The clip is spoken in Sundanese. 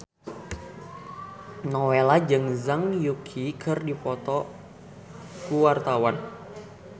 Nowela jeung Zhang Yuqi keur dipoto ku wartawan